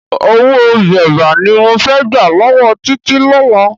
Owó bébà ni mo fẹ́ gbà lọ́wọ́ Títí lọ́la.